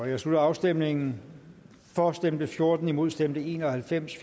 jeg slutter afstemningen for stemte fjorten imod stemte en og halvfems